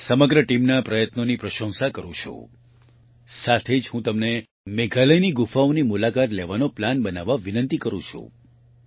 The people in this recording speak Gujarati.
હું આ સમગ્ર ટીમના પ્રયત્નોની પ્રશંસા કરું છું સાથે જ હું તમને મેઘાલયની ગુફાઓની મુલાકાત લેવાનો પ્લાન બનાવવા વિનંતી કરું છું